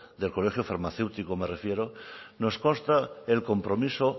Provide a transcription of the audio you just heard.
del colegio farmacéutico me refiero nos consta el compromiso